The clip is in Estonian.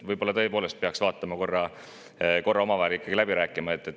Võib-olla peaks selle korra tõepoolest ikkagi omavahel läbi rääkima.